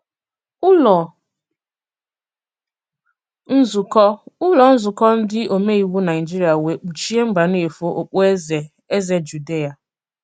Ùlọ nzùkọ Ùlọ nzùkọ ndị òmèiwù Nàịjìrìà wèè kpùchìè Mbànéfò òkpùèzè Èzè Jùdìà.